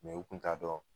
u tun t'a dɔn